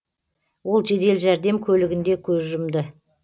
ол жедел жәрдем көлігінде көз жұмды